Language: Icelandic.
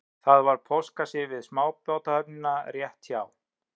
Það var póstkassi við smábátahöfnina rétt hjá